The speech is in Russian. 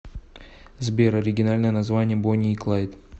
сбер оригинальное название бонни и клайд